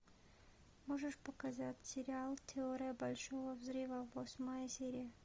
можешь показать сериал теория большого взрыва восьмая серия